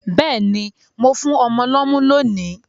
Béèni, mo n fún ọmọ lómú lónì